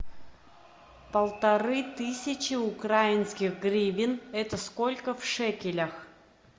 полторы тысячи украинских гривен это сколько в шекелях